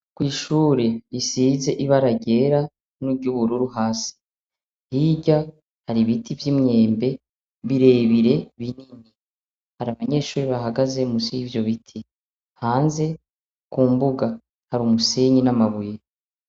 Ko'ishure isize ibara ryera n'uryubururu hasi hirya hari ibiti vy'imwembe birebire binini hari abanyeshuri bahagaze musi y'ivyo bite hanze ku mbuga hari umusenyi n'amabuye.